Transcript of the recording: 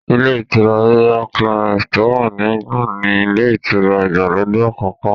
Ilé ìtura Royal Clarance tó wà ní England ni ilé ìtura ìgbàlódé àkọ́kọ́